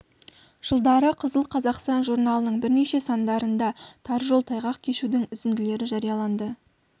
жылдары қызыл қазақстан журналының бірнеше сандарында тар жол тайғақ кешудің үзінділері жарияланды